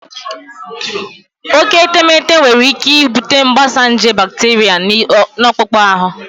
Oke etemeete nwere ike ibute mgbasa nje bakteria na akpụkpọ ahụ.